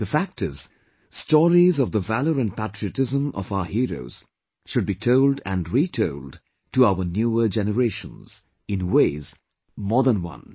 The fact is, stories of the valour and patriotism of our heroes should be told and retold to our newer generations in ways more than one